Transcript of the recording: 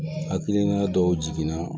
Hakilina dɔw jiginna